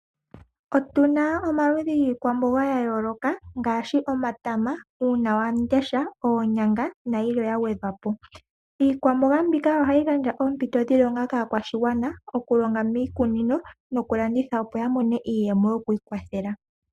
Otuna omaludhi giikwamboga ya yooloka ngaashi omatama, uunawamundesha, oonyanga nayilwe yagwedhwapo. Iikwamboga mbika ohayi gandja ompito yiilonga kaa kwashigwana okulonga mii kunino noku landitha opo yamone okwii kwathela.